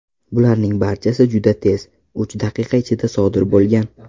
Bularning barchasi juda tez, uch daqiqa ichida sodir bo‘lgan.